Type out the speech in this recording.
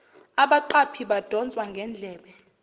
abaqaphi badonswa ngendlebe